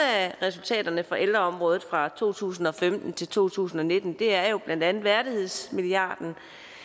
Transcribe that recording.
resultaterne på ældreområdet fra to tusind og femten til to tusind og nitten er blandt andet værdighedsmilliarden